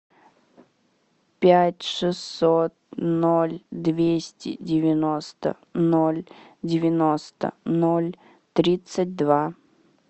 пять шестьсот ноль двести девяносто ноль девяносто ноль тридцать два